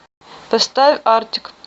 поставь артик